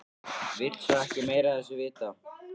Vill svo ekki meira af þessu vita.